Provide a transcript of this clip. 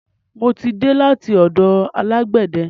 Mo ti dé láti ọ̀dọ̀ alágbẹ̀de.